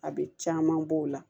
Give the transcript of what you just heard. A bɛ caman b'o la